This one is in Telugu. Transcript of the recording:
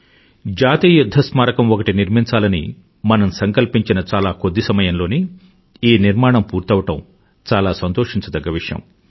జాతీయ యుధ్ధ స్మారకం ఒకటి నిర్మించాలని మనం సంకల్పించిన చాలా కొద్ది సమయంలోనే ఈ నిర్మాణం పూర్తవడం చాలా సంతోషించదగ్గ విషయం